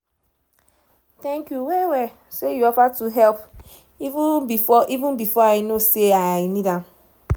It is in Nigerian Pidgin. thank you well well say you offer to help even before even before i know sey i need am